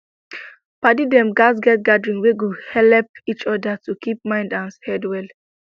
padi dem gatz get gathering wet go dey helep each other to keep mind and head well